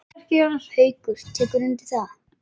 Haukur: Tekurðu undir það?